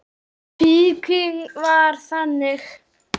Fíknin var þannig.